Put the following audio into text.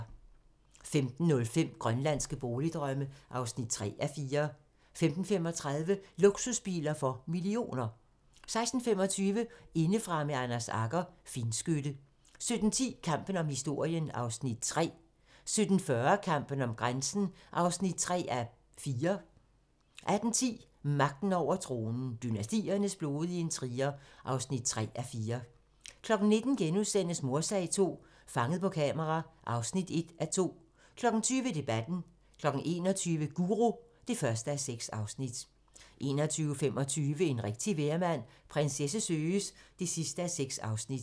15:05: Grønlandske boligdrømme (3:4) 15:35: Luksusbiler for millioner 16:25: Indefra med Anders Agger - Finskytte 17:10: Kampen om historien (Afs. 3) 17:40: Kampen om grænsen (3:4) 18:10: Magten over tronen - Dynastiernes blodige intriger (3:4) 19:00: Mordsag II - Fanget på kamera (1:2)* 20:00: Debatten 21:00: Guru (1:6) 21:25: En rigtig vejrmand - Prinsesse søges (6:6)